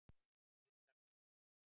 Lindarbrekku